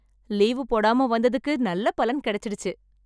leave போடாம வந்ததுக்கு நல்ல பலன் கிடைச்சிடுச்சு